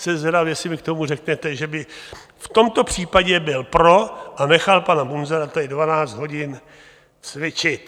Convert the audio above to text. Jsem zvědavý, jestli mi k tomu řeknete, že byste v tomto případě byl pro a nechal pana Munzara tady 12 hodin cvičit.